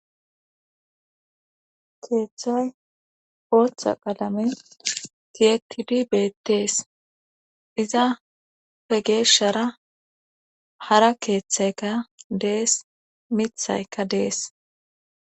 keeththay booththa qalamen tiyetidi beettees iza pe geeshshara hara keeththaykka dees mithaykka dees